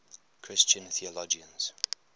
christian theologians